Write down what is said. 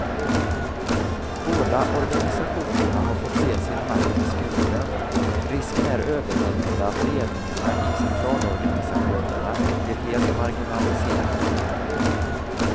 Båda organisationerna har fått se sin makt beskuren, risken är överhängande att ledningarna i centralorganisationerna blir helt marginaliserade.